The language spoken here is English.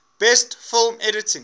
best film editing